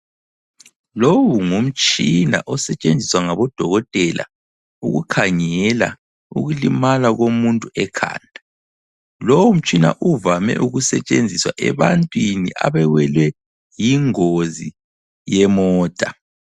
Lowu ngumtshina osetshenziswa ngabo dokotela ukukhangela ukulimala komuntu ekhanda. Lowu mtshina uvame ukusetshenziswa ebantwini abawelwe yingozi yemota.